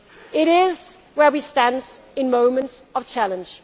comfort. It is where we stand in moments of challenge.